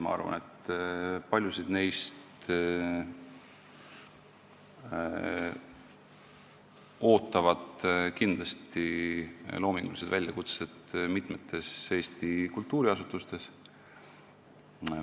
Ma arvan, et paljusid neist ootavad kindlasti loomingulised väljakutsed mitmetes Eesti kultuuriasutustes.